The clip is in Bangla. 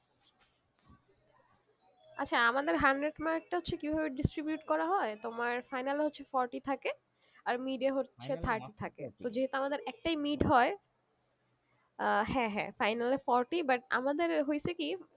আচ্ছা আমাদের hundred mark টা হচ্ছে কি ভাবে distribute করা হয়, তোমার final এ হচ্ছে forty থাকে আর mid এ হচ্ছে thirty থাকে যেহুতু আমাদের একটাই mid হয়ে আহ হ্যাঁ হ্যাঁ final এ forty but আমাদের হয়েছে কি forty